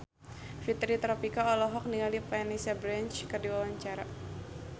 Fitri Tropika olohok ningali Vanessa Branch keur diwawancara